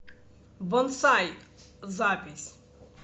бонсай запись